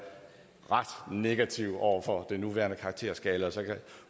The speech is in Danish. ret negativ over for den nuværende karakterskala